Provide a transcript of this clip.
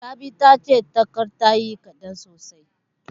Rabi tace tagar tayi kaɗan sosai.